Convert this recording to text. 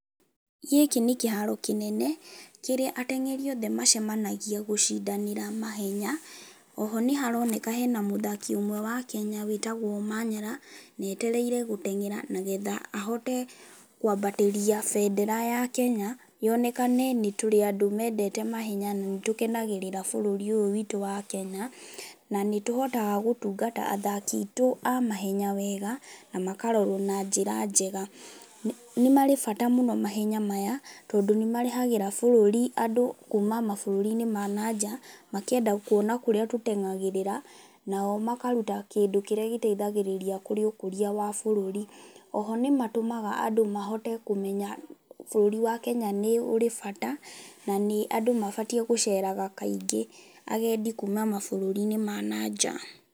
Gĩkĩ nĩ kĩharo kĩnene, kĩrĩa ateng'eri othe macemanagia gũcindanĩra mahenya, oho nĩharoneka harĩ na mũthaki ũmwe wa Kenya wĩtagwo Omanyala, na etereire gũteng'era nĩgetha ahote kwambatĩria benera ya Kenya, yonekane nĩ tũrĩ andũ mendete mahenya na nĩtũkenagĩrĩra bũrũri ũyũ witũ wa Kenya, na nĩtũhotaga gũtungata athaki aitũ a mahenya wega namakarorwo na njĩra njega. Nĩmarĩ bata mũno mahenya maya, tondũ nĩmarehagĩra bũrũri andũ kuma mabũrũri-inĩ ma nanja, makĩenda kuona kũrĩa tũteng'agĩrĩra, nao makaruta kĩndũ kĩrĩa gĩtaithagĩrĩria kũrĩ ũkũria wa bũrũri. Oho nĩmataithagĩrĩria andũ mahote kũmenya bũrũri wa Kenya nĩũrĩ bata, na andũ mabatiĩ gũceraga kaingĩ, agendi kuma mabũrũri-inĩ ma na nja.